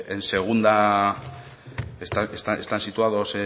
en segunda están situados